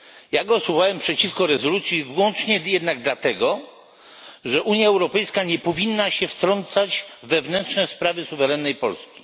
Ja głosowałem jednak przeciwko rezolucji wyłącznie dlatego, że Unia Europejska nie powinna się wtrącać w wewnętrzne sprawy suwerennej Polski.